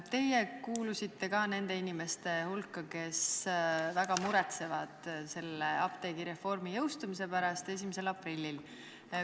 Teie olete ka kuulunud nende inimeste hulka, kes väga muretsevad apteegireformi jõustumise pärast 1. aprillil.